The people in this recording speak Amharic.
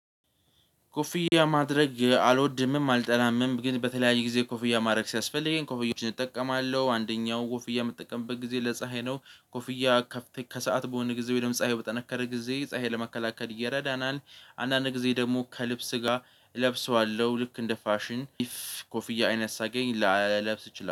ኮፍያ ማድረግ አልወድምም አልጠላምም ግን በተለያየ ጊዜ ኮፍያ ማረግ ሲያስፈልገኝ ኮፍያዎችን እጠቀማለሁ አንደኛው ኮፍያ ምጠቀምበት ጊዜ ለፀሀይ ነው ኮፍያ ከሰአት በሆነ ጊዜ ወይም ፀሀይ በጠነከረ ጊዜ ፀሀይ ለመከላከል ይረዳናል። አንዳንድ ጊዜ ደግሞ ከልብስ ጋር እለብሰዋለሁ ልክ እንደ ፋሽን ኮፍያ አይነት ሳገኝ ላለብስ እችላለሁ